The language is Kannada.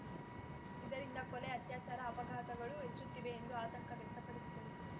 ಇದರಿಂದ ಕೊಲೆ ಅತ್ಯಾಚಾರ ಅಪಘಾತಗಳೂ ಹೆಚ್ಚುತ್ತಿವೆ ಎಂದು ಆತಂಕ ವ್ಯಕ್ತಪಡಿಸಿದರು